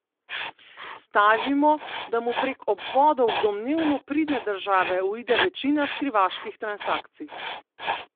Stavimo, da mu prek obvodov v domnevno pridne države uide večina skrivaških transakcij.